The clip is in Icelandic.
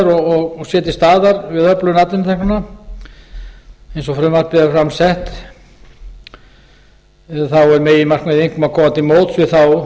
og sé til staðar við öflun atvinnuteknanna eins og frumvarpið er fram sett er meginmarkmiðið einkum að koma til móts við þá